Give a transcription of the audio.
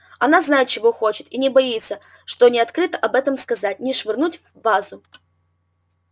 она знает чего хочет и не боится что ни открыто об этом сказать ни швырнуть вазу